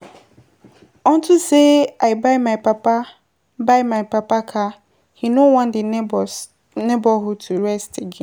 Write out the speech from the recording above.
Unto say I buy my papa car he no wan the neighborhood to rest